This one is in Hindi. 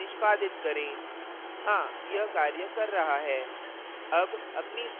कंपाइल और निष्पादित करें हाँ यह कार्य कर रहा है